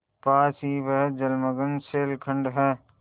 पास ही वह जलमग्न शैलखंड है